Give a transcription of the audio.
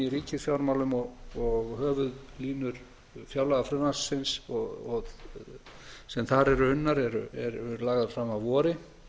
ríkisfjármálum og höfuðlínur fjárlagafrumvarpsins sem þar eru unnar eru lagðar fram að vori